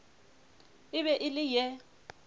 e be e le ye